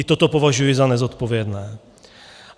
I toto považuji za nezodpovědné.